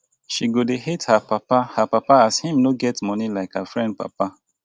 she go dey hate her papa her papa as him no get moni like her friend papa.